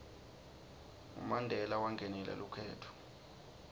ngo mandela wangenela lukhetfo